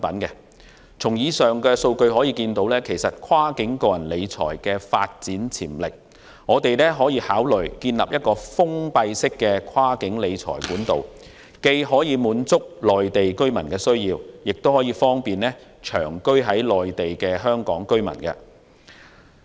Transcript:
以上數據足證跨境個人理財的發展潛力，我們可以考慮建立封閉式的跨境理財管道，既可滿足內地居民的需要，亦方便長居於內地的香港居民。